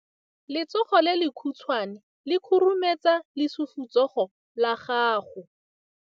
Letsogo le lekhutshwane le khurumetsa lesufutsogo la gago.